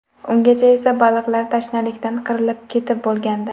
Ungacha esa baliqlar tashnalikdan qirilib ketib bo‘lgandi.